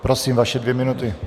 Prosím, vaše dvě minuty.